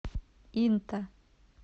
инта